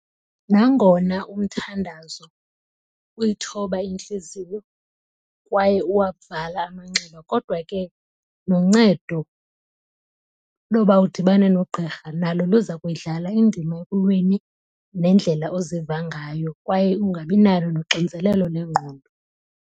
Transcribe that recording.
Nangona umthandazo uyithoba intliziyo kwaye uwavala amanxeba kodwa ke noncedo loba udibane nogqirha nalo luza kuyidlala indima ekulweni nendlela oziva ngayo kwaye ungabinalo noxinzelelo lengqondo.